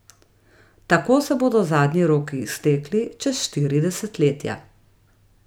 Tako se bodo zadnji roki iztekli čez štiri desetletja.